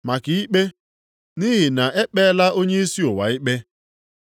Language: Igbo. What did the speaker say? maka ikpe, nʼihi na e kpeela onyeisi ụwa a ikpe.